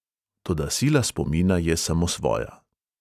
Toda sila spomina je samosvoja.